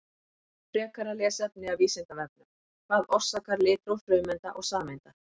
Frekara lesefni af Vísindavefnum: Hvað orsakar litróf frumeinda og sameinda?